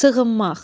Sığınmaq.